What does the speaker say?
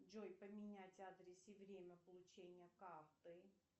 джой поменять адрес и время получения карты